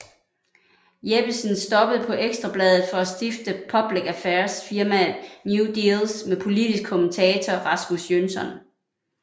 Jeppesen stoppede på Ekstra Bladet for at stifte public affairs firmaet New Deals med politisk kommentator Rasmus Jønsson